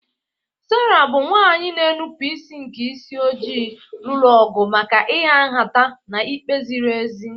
Sera, bụ́ nwanyị na-enupụ isi nke isi ojii, lụrụ ọgụ maka ịha nhata na ikpe ziri ezi.